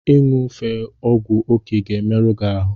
Ị ṅufe ọgwụ oke ga-emerụ gị ahụ.